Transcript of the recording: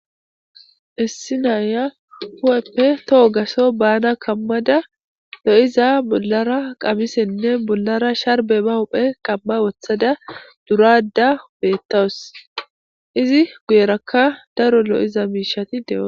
Issi naya hu7eppe toho gaso baana kammada lo7iza bollara qamisenne bollara sharbe ba huphe qamma wothada durada upeettawus izi guyerakka daro lo7iza miishati deoa.